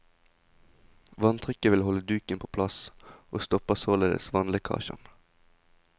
Vanntrykket vil holde duken på plass, og stopper således vannlekkasjen.